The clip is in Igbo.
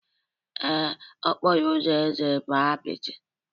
Ee, okporo ụzọ eze bụ apịtị